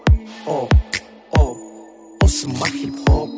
о о осы ма хип хоп